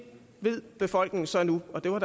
ved befolkningen så nu og det var